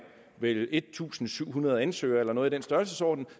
vel en tusind syv hundrede ansøgere eller noget i den størrelsesorden